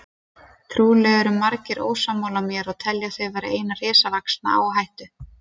Trúlega eru margir ósammála mér og telja þau vera eina risavaxna áhættu.